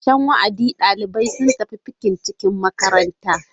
Ƙarshen wa'adi, ɗalibai sun tafi fikin-cikin makaranta.